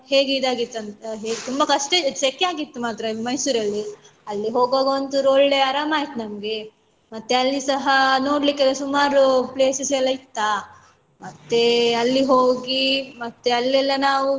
ಹೇಗೆ ಇದಾಗಿತ್ತಂದ್ರೆ ತುಂಬ ಕಷ್ಟ ಸೆಕೆ ಆಗಿತ್ತು ಮಾತ್ರ Mysore ಅಲ್ಲಿ ಅಲ್ಲಿ ಹೋಗುವಾಗ ಒಂದ್ ಚೂರು ಒಳ್ಳೆ ಅರಮಾಯ್ತು ನಮ್ಗೆ ಮತ್ತೆ ಅಲ್ಲಿ ಸಹ ನೋಡ್ಲಿಕ್ಕೆ ಸುಮಾರು places ಎಲ್ಲ ಇತ್ತಾ ಮತ್ತೆ ಅಲ್ಲಿ ಹೋಗಿ ಮತ್ತೆ ಅಲ್ಲೆಲ್ಲಾ ನಾವು.